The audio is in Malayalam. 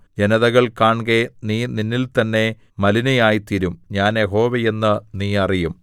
ജനതകൾ കാൺകെ നീ നിന്നിൽത്തന്നെ മലിനയായിത്തീരും ഞാൻ യഹോവ എന്ന് നീ അറിയും